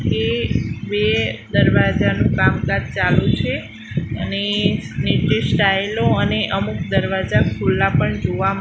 એ બે દરવાજાનું કામકાજ ચાલુ છે અને નીચે સ્ટાઇલો અને અમુક દરવાજા ખુલ્લા પણ જોવા--